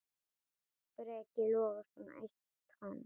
Breki Logason: Eitt tonn?